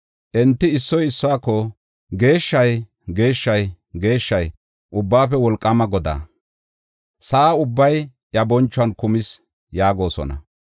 Enti issoy issuwako, “Geeshshay, geeshshay, geeshshay, Ubbaafe Wolqaama Godaa! Sa7a ubbay iya bonchuwan kumis” yaagosona.